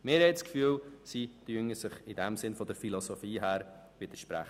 Wir haben das Gefühl, dass die beiden sich von der Philosophie her widersprechen.